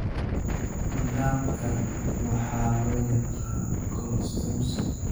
Nidaamkan waxaa loo yaqaan 'colostomy'.